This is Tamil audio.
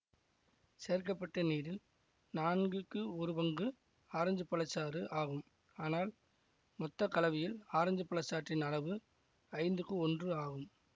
சேர்க்க பட்ட நீரில் நான்குக்கு ஒருபங்கு பங்கு ஆரஞ்சுப் பழச்சாறு ஆகும் ஆனால் மொத்த கலவையில் ஆரஞ்சு பழச் சாற்றின் அளவு ஐந்துக்கு ஒன்று ஆகும்